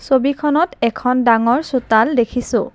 ছবিখনত এখন ডাঙৰ চোতাল দেখিছোঁ।